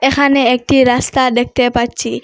এখানে একটি রাস্তা দেখতে পাচ্ছি।